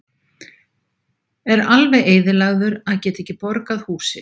Er alveg eyðilagður að geta ekki borgað húsið.